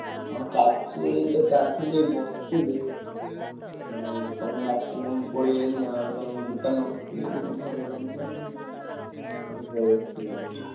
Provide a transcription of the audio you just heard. ହଁ ଚାଲିଛି ଏଇତ ଚାଲିଥିଲି ବସଥିଲି। ଆଉ ତମେ ଡାକିଲ ମୁଁ ପଳେଇଆଇଲି ଆଉ ତମ ଦୋକାନରେ ବସିଥିଲି ଏଇ ଘରକୁ ଗଲି। ମୁଁ ପଳେଇଆସିଲିଣି।